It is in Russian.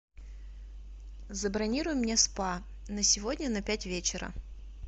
забронируй мне спа на сегодня на пять вечера